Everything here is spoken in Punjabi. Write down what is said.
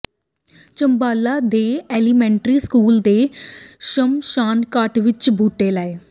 ਝੰਬਾਲਾ ਦੇ ਐਲੀਮੈਂਟਰੀ ਸਕੂਲ ਤੇ ਸ਼ਮਸ਼ਾਨਘਾਟ ਵਿੱਚ ਬੂਟੇ ਲਾਏ